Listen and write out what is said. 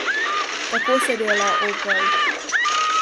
Tako se dela, Opel!